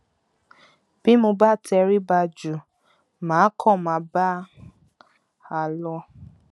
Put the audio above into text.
bí mo bá tẹrí ba jù mà á kàn máa bá a lọ